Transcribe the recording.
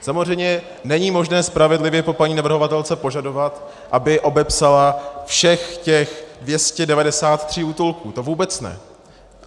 Samozřejmě není možné spravedlivě po paní navrhovatelce požadovat, aby obepsala všech těch 293 útulků, to vůbec ne.